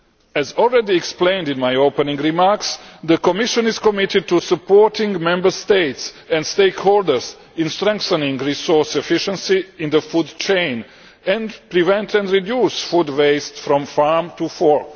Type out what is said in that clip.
As already explained in my opening remarks, the Commission is committed to supporting Member States and stakeholders in strengthening resource efficiency in the food chain and preventing and reducing food waste from farm to fork.